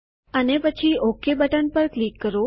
અને પછી okay button પર ક્લિક કરો